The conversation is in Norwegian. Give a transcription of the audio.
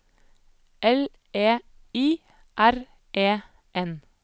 L E I R E N